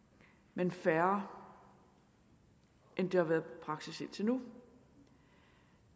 men færre end det har været praksis indtil nu